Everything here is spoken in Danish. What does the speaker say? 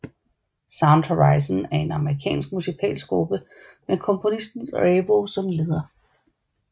Sound Horizon er en japansk musikalsk gruppe med komponisten Revo som leder